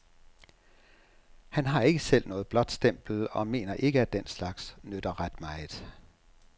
Han har ikke selv noget blåt stempel og mener ikke, at den slags nytter ret meget.